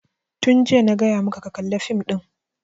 Tun jiya na gaya maka ka kalla fim ɗin!